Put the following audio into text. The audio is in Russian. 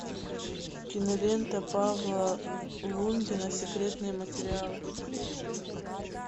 кинолента павла лунгина секретные материалы